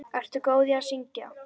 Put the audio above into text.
Ertu góð í að syngja?